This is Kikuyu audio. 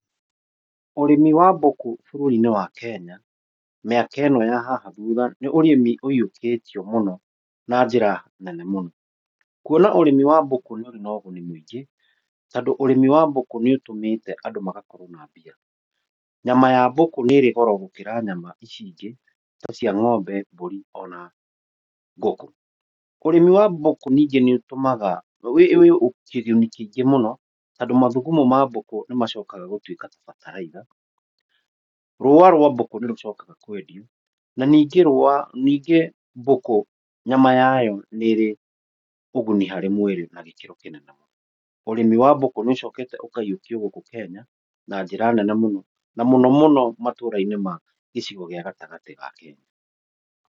Ũrĩmi wa mbũkũ bũrũri-inĩ wa Kenya miaka ĩno ya haha thutha nĩ ũrĩmi ũiyũkĩtio mũno na njĩra nene mũno. Kuona ũrĩmi wa mbũkũ nĩ ũrĩ na ũguni mũingĩ, tondũ ũrĩmi wa mbũkũ nĩ ũtũmĩte andũ magakorwo na mbia. Nyama ya mbũkũ nĩ ĩrĩ goro gũkira nyama ici ingĩ ta cia ng'ombe mbũri ona ngũkũ. Ũrĩmi wa mbũkũ ningĩ nĩ ũtũmaga, ũrĩ kĩguni kĩngĩ mũno tondũ mathugumo ma mbũkũ nĩ macokaga gũtuĩka ta bataraica. Rũa rwa mbũkũ nĩ rũcokaga kwendio na ningĩ rũa, ningĩ mbũkũ nyama yayo nĩ ĩrĩ ũguni harĩ mwĩrĩ na gĩkĩro kĩnene mũno. Ũrĩmi wa mbũkũ nĩ ũcokete ũkaiyũkio gũkũ Kenya na njĩra nene mũno, na mũno mũno matũra-inĩ ma gĩcigo gĩa gatagatĩ ga Kenya.